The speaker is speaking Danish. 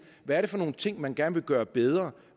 hvad er det for nogle ting man gerne vil gøre bedre